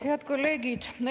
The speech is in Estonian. Head kolleegid!